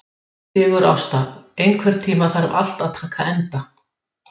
Þeir finnast í ýmsum litbrigðum, en villtir gárar eru nær alltaf grænir eða gulgrænir.